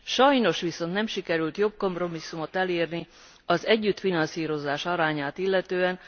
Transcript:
Sajnos viszont nem sikerült jobb kompromisszumot elérni a társfinanszírozás arányát illetően.